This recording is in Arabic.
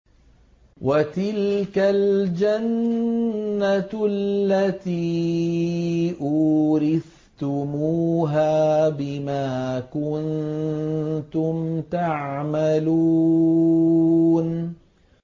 وَتِلْكَ الْجَنَّةُ الَّتِي أُورِثْتُمُوهَا بِمَا كُنتُمْ تَعْمَلُونَ